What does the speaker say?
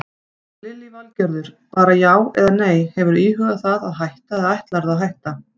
Lillý Valgerður: Bara já eða nei, hefurðu íhugað það að hætta eða ætlarðu að hætta?